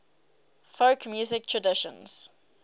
folk music traditions